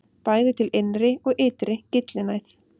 Bæði er til innri og ytri gyllinæð.